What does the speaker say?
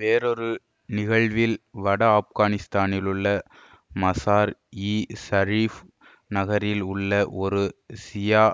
வேறொரு நிகழ்வில் வட ஆப்கானித்தானிலுள்ள மசார் இ சரீஃப் நகரில் உள்ள ஒரு ஷியா